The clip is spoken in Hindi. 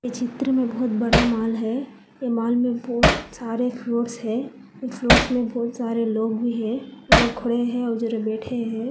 चित्र में बहुत बड़ा मॉल है ये मॉल में बहुत सारे फ्लोर्स है फ्लोर्स में बहुत सारे लोग भी हैं वो लोग खड़े है और जरा लोग बैठे हैं।